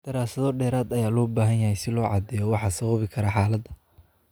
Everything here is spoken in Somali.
Daraasado dheeraad ah ayaa loo baahan yahay si loo caddeeyo waxa sababi kara xaaladda.